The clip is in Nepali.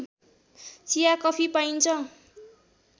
चिया कफी पाइन्छ